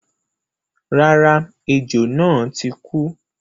Rárá, ẹjò náà ò tíì kú.